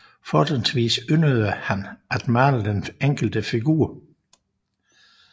Fortrinsvis yndede han at male den enkelte figur